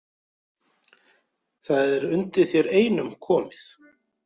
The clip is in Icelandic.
Það er undir þér einum komið